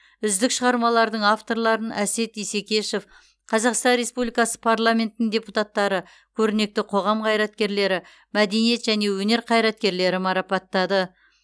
үздік шығармалардың авторларын әсет исекешев қазақстан республикасы парламентінің депутаттары көрнекті қоғам қайраткерлері мәдениет және өнер қайраткерлері марапаттады